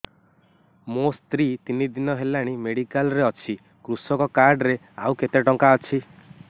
ମୋ ସ୍ତ୍ରୀ ତିନି ଦିନ ହେଲାଣି ମେଡିକାଲ ରେ ଅଛି କୃଷକ କାର୍ଡ ରେ ଆଉ କେତେ ଟଙ୍କା ଅଛି